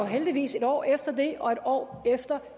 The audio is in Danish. heldigvis et år efter det og et år efter